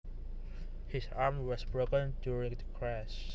His arm was broken during the crash